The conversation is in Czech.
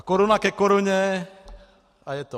A koruna ke koruně - a je to.